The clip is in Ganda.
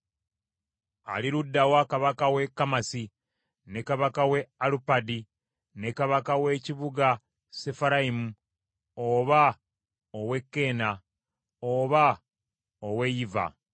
Ali ludda wa kabaka w’e Kamasi ne kabaka w’e Alupadi ne kabaka w’ekibuga Sefarayimu oba ow’e Keena, oba ow’e Yiva?”